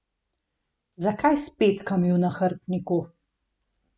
Zakaj s petkami v nahrbtniku?